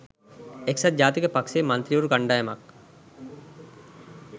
එක්සත් ජාතික පක්ෂයේ මන්ත්‍රීවරු කණ්ඩායමක්